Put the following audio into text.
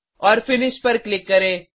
और फिनिश पर क्लिक करें